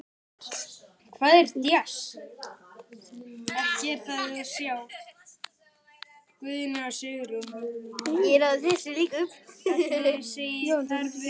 En er Harpa ekki Harpa?